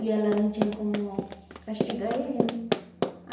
E ela não tinha como castigar ele, né?